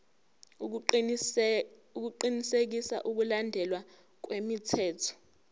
ukuqinisekisa ukulandelwa kwemithetho